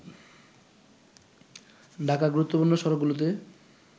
ঢাকার গুরুত্বপূর্ণ সড়কগুলোতে